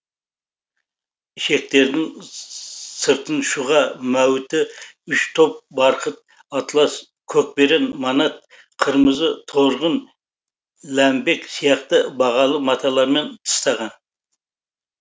ішектердің сыртын шұға мәуіті үш топ барқыт атлас көкберен манат қырмызы торғын ләмбек сияқты бағалы маталармен тыстаған